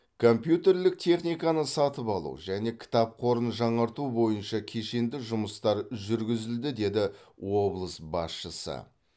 компьютерлік техниканы сатып алу және кітап қорын жаңарту бойынша кешенді жұмыстар жүргізілді деді облыс басшысы